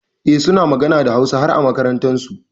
Eh, suna magana da Hausa har a makarantunsu.